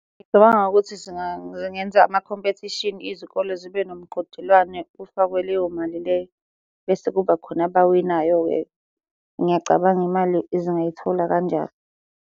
Ngicabanga ukuthi ngingenza amakhompethishini izikole zibe nomqhudelwane kufakwe leyo mali leyo, bese kuba khona abawinayo-ke. Ngiyacabanga imali zingayitholi kanjalo.